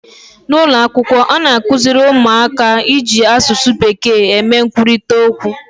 N'ụlọ akwụkwọ a na-akụziri ụmụaka iji asụsụ bekee eme nkwurịta okwu